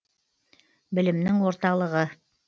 білімнің орталығы